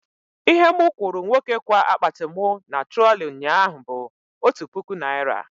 Ihe mụ kwụrụ nwoke kwa akpati mụ na trọlị nyaa bụ otu puku naira